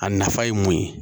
A nafa ye mun ye